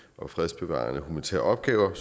og fredsbevarende humanitære opgaver er